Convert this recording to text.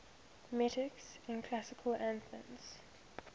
metics in classical athens